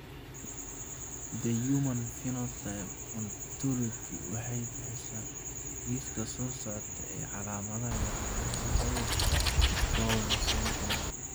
The Human Phenotype Ontology waxay bixisaa liiska soo socda ee calaamadaha iyo calaamadaha cudurka Bowen syndrome.